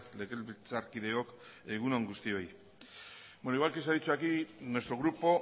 legebiltzarkideok egun on guztioi igual que se ha dicho aquí nuestro grupo